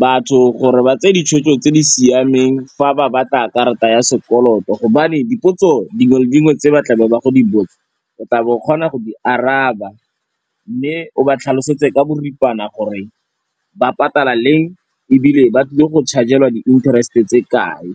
batho gore ba tse ditshwetso tse di siameng fa ba batla karata ya sekoloto gobane dipotso dingwe le dingwe tse ba tla be ba go di botsa o tla be o kgona go di araba, mme o ba tlhalosetse ka boripana gore ba patala leng ebile ba tlile go charge-elwa di-interest-e tse kae.